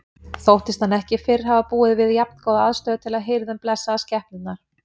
Þóttist hann ekki fyrr hafa búið við jafngóða aðstöðu til að hirða um blessaðar skepnurnar.